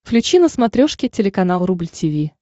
включи на смотрешке телеканал рубль ти ви